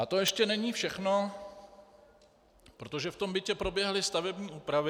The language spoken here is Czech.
A to ještě není všechno, protože v tom bytě proběhly stavební úpravy.